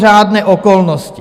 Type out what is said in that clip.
Mimořádné okolnosti.